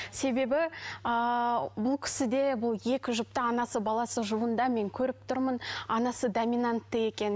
себебі ыыы бұл кісіде бұл екі жұпта анасы баласы жұбында мен көріп тұрмын анасы доминантты екен